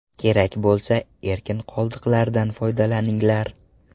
Kerak bo‘lsa, erkin qoldiqlardan foydalaninglar.